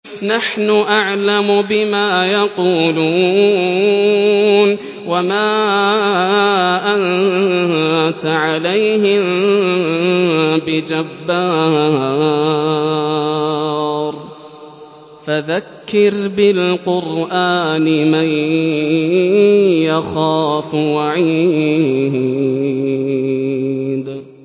نَّحْنُ أَعْلَمُ بِمَا يَقُولُونَ ۖ وَمَا أَنتَ عَلَيْهِم بِجَبَّارٍ ۖ فَذَكِّرْ بِالْقُرْآنِ مَن يَخَافُ وَعِيدِ